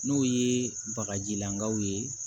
N'o ye bagajilanbaw ye